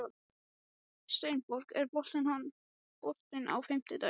Steinborg, er bolti á fimmtudaginn?